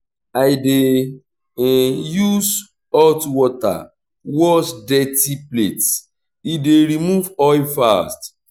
i dey use hot water wash dirty plates e dey remove oil fast.